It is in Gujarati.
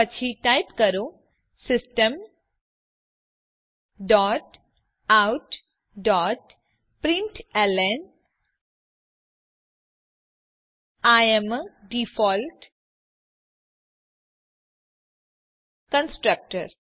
પછી ટાઇપ કરો system dot out dot println I am a default constructor